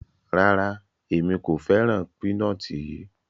Rárá, Emi ko fẹran pinọti yii